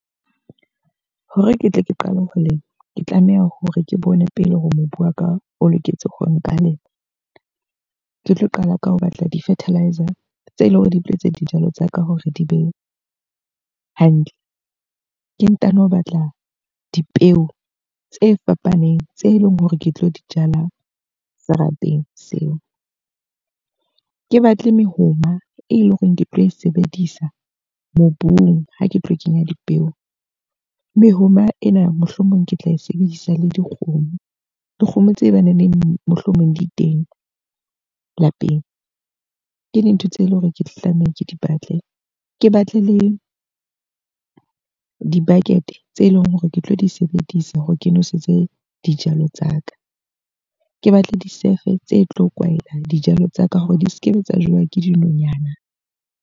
Hore ke tle ke qale ho lema. Ke tlameha hore ke bone pele hore mobu wa ka o loketse hore nka lema. Ke tlo qala ka ho batla di-fertiliser tse leng hore di tletse dijalo tsa ka hore di be hantle. Ke ntano batla dipeo tse fapaneng tse leng hore ke tlo di jala serapeng seo. Ke batle mehoma e leng hore ke tlo e sebedisa mobung ha ke tlo kenya dipeo. Mehoma ena mohlomong ke tla e sebedisa le dikgomo. Dikgomo tse baneneng mohlomong di teng lapeng. Ke dintho tse leng hore ke tlo tlameha ke di batle. Ke batle le di-bucket tse leng hore ke tlo di sebedisa hore ke noesetse dijalo tsa ka. Ke batle disefe tse tlo kwahelang dijalo tsa ka hore di sekebe tsa jewa ke dinonyana.